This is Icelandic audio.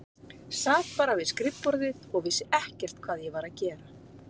Sat bara við skrifborðið og vissi ekkert hvað ég var að gera.